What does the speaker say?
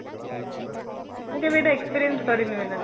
ମୁଁ କେବେ ଏଇଟା experience କରିନି